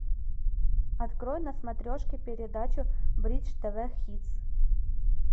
открой на смотрешке передачу бридж тв хитс